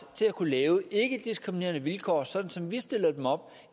at kunne lave ikkediskriminerende vilkår sådan som vi stiller dem op